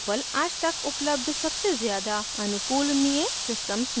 drupal आज तक उपलब्ध सबसे ज़्यादा अनुकूलनीय systems में से एक है